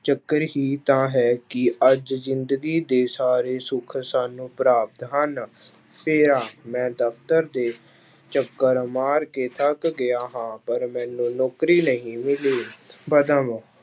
ਚੱਕਰ ਹੀ ਤਾਂ ਹੈ ਕਿ ਅੱਜ ਜ਼ਿੰਦਗੀ ਦੇ ਸਾਰੇ ਸੁੱਖ ਸਾਨੂੰ ਪ੍ਰਾਪਤ ਹਨ, ਫੇਰਾ, ਮੈਂ ਦਫ਼ਤਰ ਦੇ ਚੱਕਰ ਮਾਰ ਕੇ ਥੱਕ ਗਿਆ ਹਾਂ ਪਰ ਮੈਨੂੰ ਨੌਕਰੀ ਨਹੀਂ ਮਿਲੀ